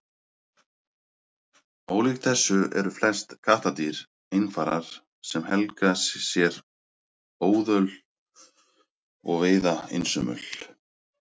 ólíkt þessu eru flest kattardýr einfarar sem helga sér óðöl og veiða einsömul